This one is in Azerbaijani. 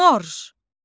Morj.